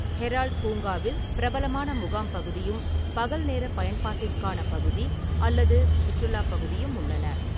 Herald பூங்காவில் பிரபலமான முகாம் பகுதியும், பகல்நேர பயன்பாட்டிற்கான பகுதி அல்லது சுற்றுலாப் பகுதியும் உள்ளன.